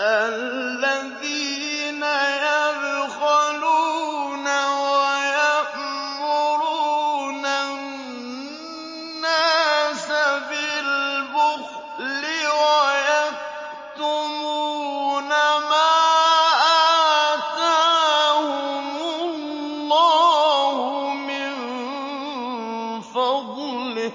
الَّذِينَ يَبْخَلُونَ وَيَأْمُرُونَ النَّاسَ بِالْبُخْلِ وَيَكْتُمُونَ مَا آتَاهُمُ اللَّهُ مِن فَضْلِهِ ۗ